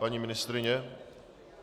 Paní ministryně?